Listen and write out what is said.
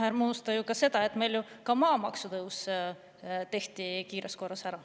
Ärme unusta ka seda, et meil tehti ju kiirkorras ära ka maamaksu tõus.